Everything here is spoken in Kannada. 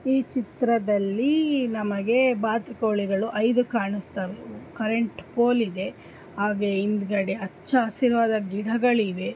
ಈ ಚಿತ್ರದಲ್ಲಿ ನಮಗೆ ಬಾತುಕೋಳಿಗಳು ಐದು ಕಾಣಸ್ತಾವ್. ಕರೆಂಟ್ ಪೋಲ್ ಇದೆ ಹಾಗೆ ಹಿಂದ್ಗಡೆ ಅಚ್ಚ ಹಸಿರವಾದ ಗಿಡಗಳಿವೆ.